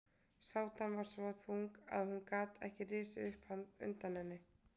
Sátan var svo þung að hún gat ekki risið upp undan henni.